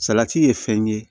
Salati ye fɛn ye